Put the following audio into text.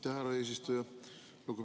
Aitäh, härra eesistuja!